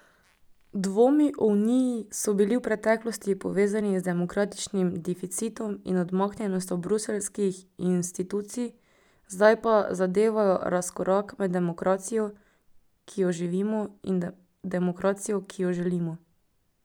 Dvomi o uniji so bili v preteklosti povezani z demokratičnim deficitom in odmaknjenostjo bruseljskih institucij, zdaj pa zadevajo razkorak med demokracijo, ki jo živimo, in demokracijo, ki jo želimo.